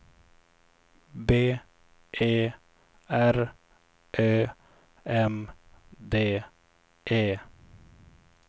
B E R Ö M D E